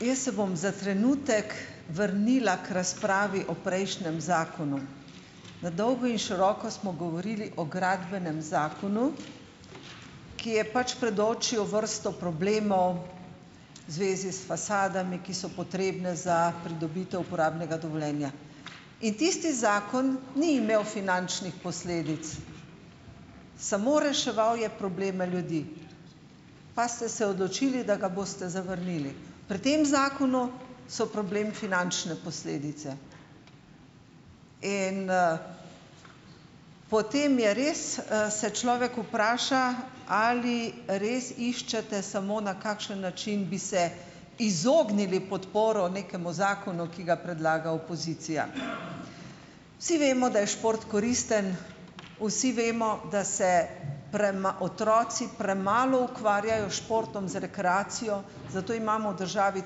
Jaz se bom za trenutek vrnila k razpravi o prejšnjem zakonu. Na dolgo in široko smo govorili o gradbenem zakonu, ki je pač predočil vrsto problemov v zvezi s fasadami, ki so potrebne za pridobitev uporabnega dovoljenja. In tisti zakon ni imel finančnih posledic. Samo reševal je probleme ljudi. Pa ste se odločili, da ga boste zavrnili. Pri tem zakonu so problem finančne posledice. In, - potem je res, se človek vpraša, ali res iščete samo, na kakšen način bi se - izognili podporo nekemu zakonu, ki ga predlaga opozicija. Vsi vemo, da je šport koristen. Vsi vemo, da se otroci premalo ukvarjajo s športom, z rekreacijo, zato imamo v državi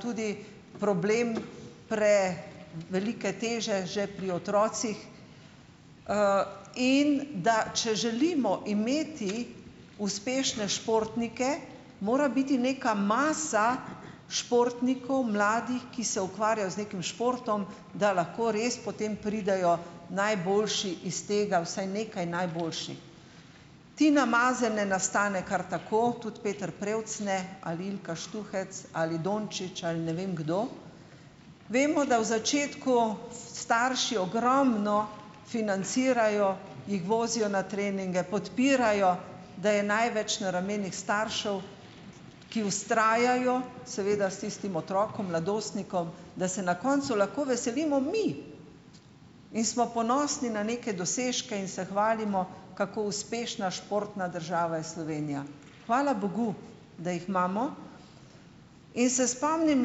tudi problem prevelike teže že pri otrocih, in da če želimo imeti uspešne športnike, mora biti neka masa športnikov, mladih, ki se ukvarjajo z nekim športom, da lahko res potem pridejo najboljši iz tega. Vsaj nekaj najboljših. Tina Maze ne nastane kar tako. Tudi Peter Prevc ne. Ali Ilka Štuhec. Ali Dončić. Ali ne vem, kdo. Vemo, da v začetku starši ogromno financirajo, jih vozijo na treninge, podpirajo, da je največ na ramenih staršev, ki vztrajajo - seveda s tistim otrokom, mladostnikom - da se na koncu lahko veselimo mi! In smo ponosni na neke dosežke in se hvalimo, kako uspešna športna država je Slovenija. Hvala bogu, da jih imamo. In se spomnim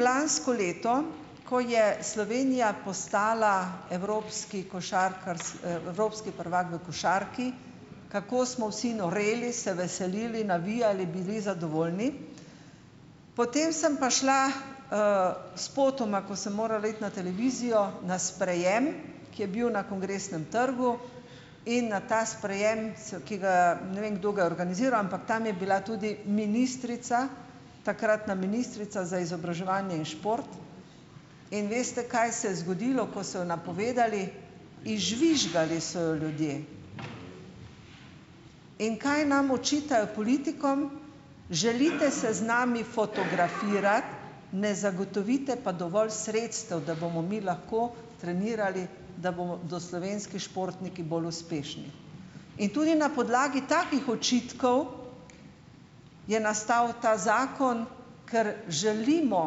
lansko leto, ko je Slovenija postala evropski evropski prvak v košarki. Kako smo vsi noreli, se veselili, navijali, bili zadovoljni. Potem sem pa šla - spotoma, ko sem morala iti na televizijo, na sprejem, ki je bil na Kongresnem trgu - in na ta sprejem, so, ki ga - ne vem, kdo ga je organiziral - ampak tam je bila tudi ministrica, takratna ministrica za izobraževanje in šport. In veste, kaj se je zgodilo, ko so jo napovedali? Izžvižgali so jo ljudje. In kaj nam očitajo, politikom? Želite se z nami fotografirati, ne zagotovite pa dovolj sredstev, da bomo mi lahko trenirali, da bodo slovenski športniki bolj uspešni. In tudi na podlagi takih očitkov je nastal ta zakon, ker želimo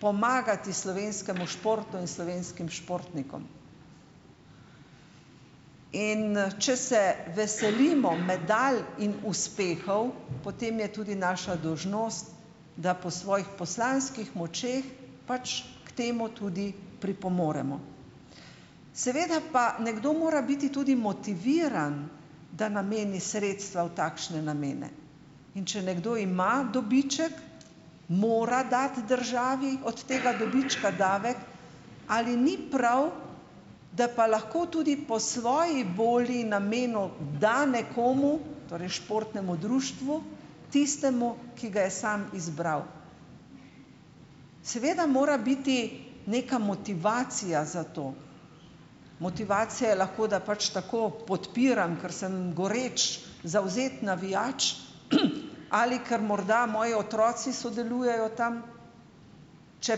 pomagati slovenskemu športu in slovenskim športnikom. In če se veselimo medalj in uspehov, potem je tudi naša dolžnost, da po svojih močeh poslanskih pač k temu tudi pripomoremo. Seveda pa nekdo mora biti tudi motiviran, da nameni sredstva v takšne namene. In če nekdo ima dobiček, mora dati državi od tega dobička davek. Ali ni prav, da pa lahko tudi po svoji volji in namenu da nekomu, torej športnemu društvu, tistemu, ki ga je sam izbral. Seveda mora biti neka motivacija za to, motivacija je lahko, da pač tako podpiram, ker sem goreč, zavzet navijač ali ker morda moji otroci sodelujejo tam, če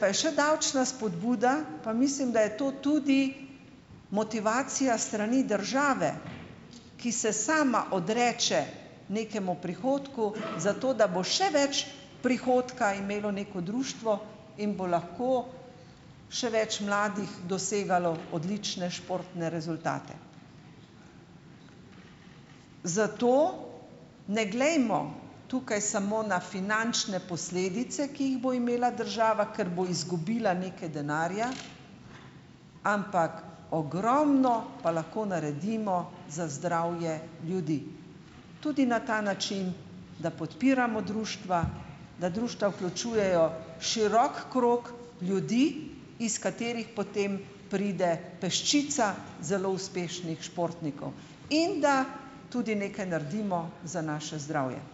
pa je še davčna spodbuda, pa mislim, da je to tudi motivacija s strani države, ki se sama odreče nekemu prihodku, zato da bo še več prihodka imelo neko društvo in bo lahko še več mladih dosegalo odlične športne rezultate. Zato ne glejmo tukaj samo na finančne posledice, ki jih bo imela država, ker bo izgubila nekaj denarja, ampak ogromno pa lahko naredimo za zdravje ljudi, tudi na ta način, da podpiramo društva, da društva vključujejo širok krog ljudi, iz katerih potem pride peščica zelo uspešnih športnikov, in da tudi nekaj naredimo za naše zdravje.